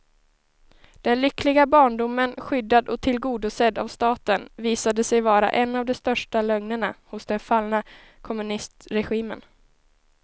Den lyckliga barndomen, skyddad och tillgodosedd av staten, visade sig vara en av de största lögnerna hos den fallna kommunistregimen.